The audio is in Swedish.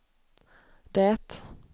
det